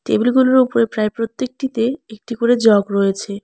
টেবিলগুলোর উপরে প্রায় প্রত্যেকটিতে একটি করে জগ রয়েছে।